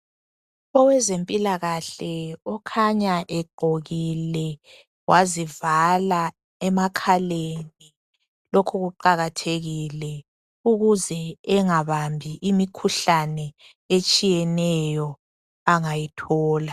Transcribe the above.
Owezempilakahle okhanya egqokile wazivala emakhaleni .Lokhu kuqakathekile ukuze engabambi imikhuhlane etshiyeneyo angayithola.